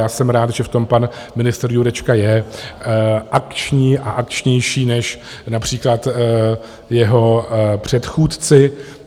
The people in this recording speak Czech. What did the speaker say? Já jsem rád, že v tom pan ministr Jurečka je akční a akčnější než například jeho předchůdci.